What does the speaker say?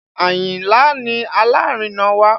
Ayinla ni alárinà wa